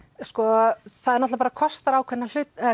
sko það kosta ákveðna